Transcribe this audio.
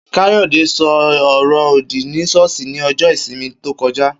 Kayode ṣo ọrọ òdì ni ṣọ́ọ̀ṣì ní ọjọ́ ìsinmi tókojá.